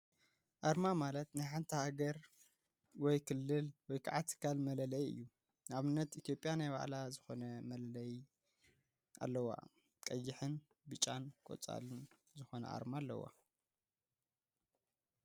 ኣርማ ማለት ናይ ሓንቲ ሃገር፣ ክልል ወይከዓ ትካል መለለይ እዩ፡፡ ንኣብነት ኢትዮጵያ ናይ ባዕላ ዝኮነ መለለይ ኣለዋ፡፡ ቀይሕ፣ ብጫን ቆፃልን ዝኮነ ኣርማ ኣለዋ፡፡